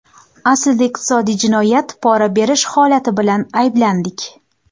Aslida iqtisodiy jinoyat, pora berish holati bilan ayblandik.